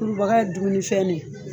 Kurubaga ye dumunifɛn ne